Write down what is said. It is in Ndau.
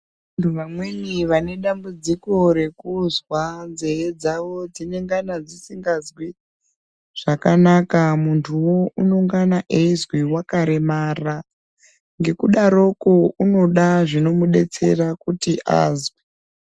Vantu vamweni vane dambudziko rekuzwa nzeve dzavo dzinengana dzisingazwi zvakanaka, muntuwo unengana aizwi wakaremara .Ngekudaroko unoda zvinomudetsera kuti azwe.